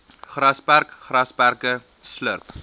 grasperk grasperke slurp